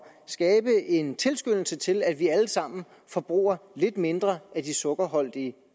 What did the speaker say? skabe en tilskyndelse til at vi alle sammen forbruger lidt mindre af de sukkerholdige